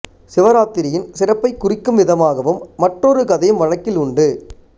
சிவராத்திரியின் சிறப்பைக் குறிக்கும் விதமாகவும் மற்றொரு கதையும் வழக்கில் உண்டு